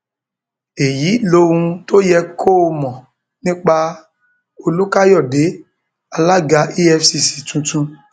èyí lohun tó yẹ kó o mọ nípa olùkàyọde àlaga efcc tuntun